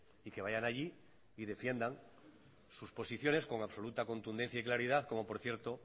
y que vayan allí y defiendan sus posiciones con absoluta contundencia y claridad como por cierto